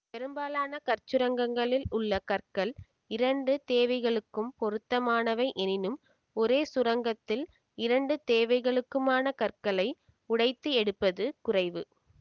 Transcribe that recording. பெரும்பாலான கற்சுரங்கங்களில் உள்ள கற்கள் இரண்டு தேவைகளுக்கும் பொருத்தமானவை எனினும் ஒரே சுரங்கத்தில் இரண்டு தேவைகளுக்குமான கற்களை உடைத்து எடுப்பது குறைவு